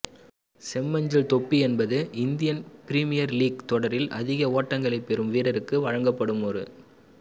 செம்மஞ்சள் தொப்பி என்பது Indian Premier League தொடரில் அதிக ஓட்டங்களை பெறும் வீரரிற்கு வழங்கப்படும் ஒரு